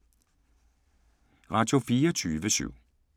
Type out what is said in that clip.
Radio24syv